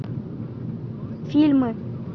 фильмы